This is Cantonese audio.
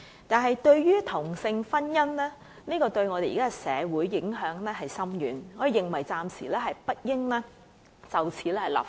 可是，由於同性婚姻對我們的社會有深遠影響，我們認為暫時不應就此立法。